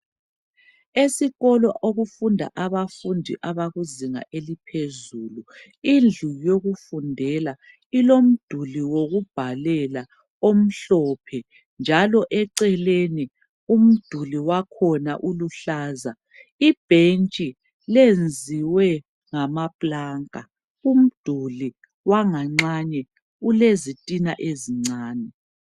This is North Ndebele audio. Esikolo okufunda abafundi abakuzinga eliphezulu , indlu yokufundela ilomduli wokubhalela omhlophe njalo eceleni umduli wakhona uluhlaza , ibhentshi lenziwe ngamaplanka , umduli wanganxanye ulezitina ezincane